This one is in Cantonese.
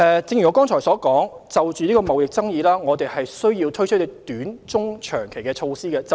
正如我剛才所說，我們需要就貿易爭議推出短、中、長期的措施。